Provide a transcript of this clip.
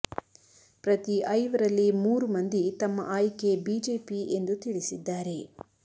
ಪ್ರತಿ ಐವರಲ್ಲಿ ಮೂರು ಮಂದಿ ತಮ್ಮ ಆಯ್ಕೆ ಬಿಜೆಪಿ ಎಂದು ತಿಳಿಸಿದ್ದಾರೆ